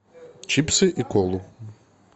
чипсы и колу